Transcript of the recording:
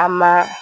A ma